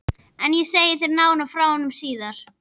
En ég segi þér nánar frá honum síðar.